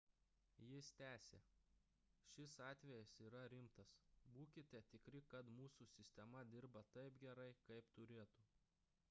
jis tęsė šis atvejis yra rimtas būkite tikri kad mūsų sistema dirba taip gerai kaip turėtų